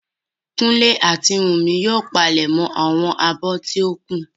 Kúnlé àti Wùnmí yóò palẹ̀mọ́ àwọn abọ́ tí ó kù